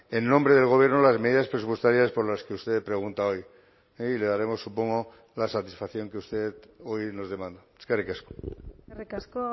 en nombre del gobierno las medidas presupuestarias por las que usted pregunta hoy y le daremos supongo la satisfacción que usted hoy nos demanda eskerrik asko eskerrik asko